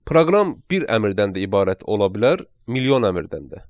Proqram bir əmrdən də ibarət ola bilər, milyon əmrdən də.